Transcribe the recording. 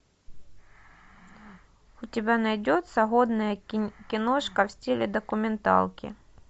у тебя найдется годная киношка в стиле документалки